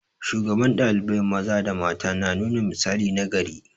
Shugaban ɗalibai maza da mata na nuna misali nagari.